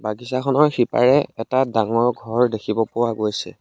বাগিছাখনৰ সিপাৰে এটা ডাঙৰ ঘৰ দেখিব পৰা গৈছে।